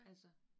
Ja